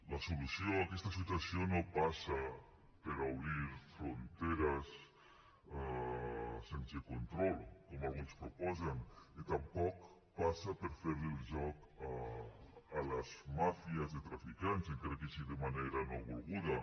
la solució a aquesta situació no passa per obrir fronteres sense control com alguns proposen ni tampoc passa per fer li el joc a les màfies de traficants encara que sigui de manera no volguda